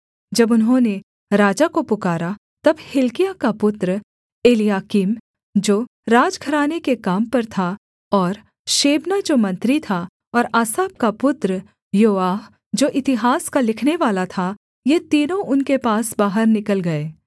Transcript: जब उन्होंने राजा को पुकारा तब हिल्किय्याह का पुत्र एलयाकीम जो राजघराने के काम पर था और शेबना जो मंत्री था और आसाप का पुत्र योआह जो इतिहास का लिखनेवाला था ये तीनों उनके पास बाहर निकल गए